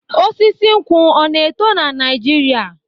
Osisi nkwu ọ na-eto na Naijiria?